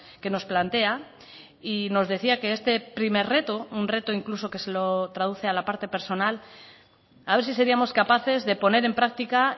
que nos plantea y nos decía que este primer reto un reto incluso que se lo traduce a la parte personal a ver si seriamos capaces de poner en práctica